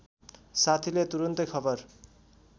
साथीले तुरून्तै खबर